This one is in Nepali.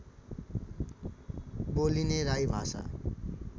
बोलिने राई भाषा